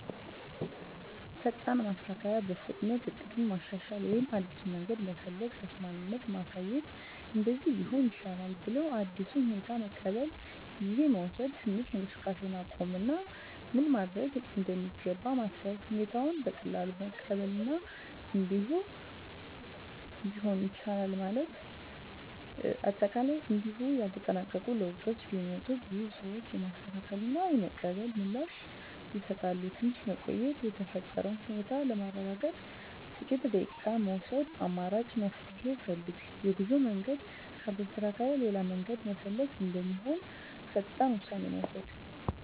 ፈጣን ማስተካከያ – በፍጥነት እቅዱን ማሻሻል ወይም አዲስ መንገድ መፈለግ። ተስማሚነት ማሳየት – “እንደዚህ ቢሆን ይሻላል” ብለው አዲሱን ሁኔታ መቀበል። ጊዜ መውሰድ – ትንሽ እንቅስቃሴን ማቆም እና ምን መደረግ እንደሚገባ ማሰብ። ሁኔታውን በቀላሉ መቀበል እና “እንዲህ ቢሆንም ይቻላል” ማለት። አጠቃላይ እንዲሁ ያልተጠበቁ ለውጦች ቢመጡም፣ ብዙ ሰዎች የማስተካከያ እና የመቀበል ምላሽ ይሰጣሉ። ትንሽ መቆየት – የተፈጠረውን ሁኔታ ለማረጋገጥ ጥቂት ደቂቃ መውሰድ። አማራጭ መፍትሄ ፈልግ – የጉዞ መንገድ ካልተሳካ ሌላ መንገድ መፈለግ እንደሚሆን ፈጣን ውሳኔ መውሰድ።